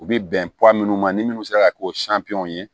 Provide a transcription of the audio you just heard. U bɛ bɛn minnu ma ni minnu sera ka k'o ye